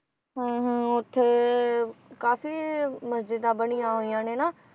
ਹਾਂ ਹਾਂ ਉੱਥੇ ਕਾਫੀ ਮਸਜਿਦਾਂ ਬਣੀਆਂ ਹੋਈਆਂ ਨੇ ਨਾ